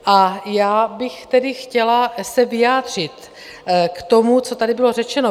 A já bych tedy se chtěla vyjádřit k tomu, co tady bylo řečeno.